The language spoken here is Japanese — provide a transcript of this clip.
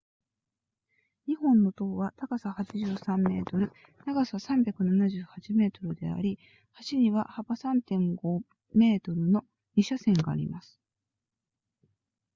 2本の塔は高さ83 m 長さ378 m であり橋には幅 3.50 m の2車線があります